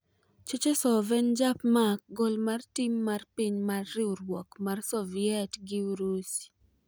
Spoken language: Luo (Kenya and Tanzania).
Cherchesov en japmak gol mar tim mar piny mar riwruok mar Soviet gi Urusi.